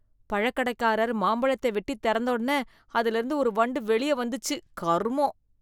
பழக்கடைக்காரர் மாம்பழத்தை வெட்டித் திறந்தோனே அதுல இருந்து ஒரு வண்டு வெளிய வந்துச்சு, கருமம்!